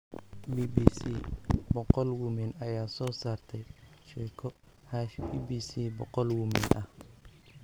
BBC 100 Women ayaa soo saartay sheeko #BBC100Women ah.